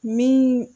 Min